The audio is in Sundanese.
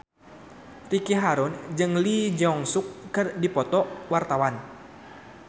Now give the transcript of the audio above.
Ricky Harun jeung Lee Jeong Suk keur dipoto ku wartawan